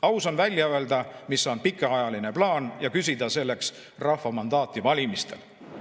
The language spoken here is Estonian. Aus on välja öelda, mis on pikaajaline plaan, ja küsida selleks rahva mandaati valimistel.